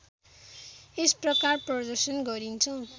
यस प्रकार प्रदर्शन गरिन्छ